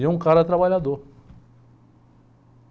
E é um cara trabalhador.